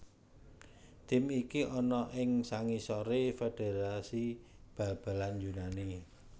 Tim iki ana ing sangisoré Federasi Bal balan Yunani